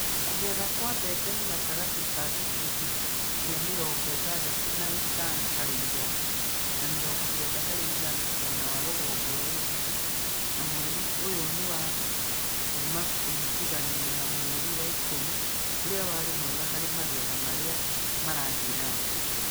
Kũgetha kwa mbebe nĩ gatagatĩ ka gĩcunjĩ gĩa mĩrongo ĩtadatũ na ĩtano harĩ igana na mĩrongo kenda harĩ igana mwena wa rũgongo rwa Rift na mweri ũyũ nĩ wa kũũma kũringithanio na mweri wa ikumi, ũrĩa warĩ mwega harĩ magetha marĩa marathiĩ na mbere.